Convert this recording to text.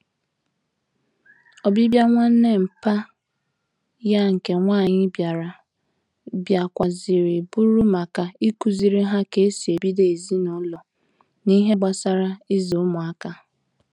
Obibia nwanne mpa ya nke nwanyi biara, biakwara ziri buru maka ikuziri ha ka esi ebido ezinulo na ihe gbasara izu umuaka